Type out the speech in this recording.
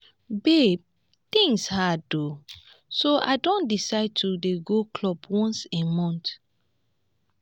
babe things hard oo so i don decide to dey go club once a month